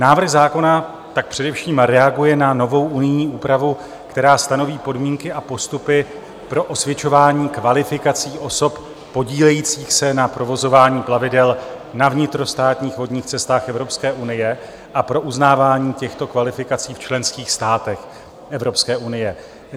Návrh zákona tak především reaguje na novou unijní úpravu, která stanoví podmínky a postupy pro osvědčování kvalifikací osob podílejících se na provozování plavidel na vnitrostátních vodních cestách Evropské unie a pro uznávání těchto kvalifikací v členských státech Evropské unie.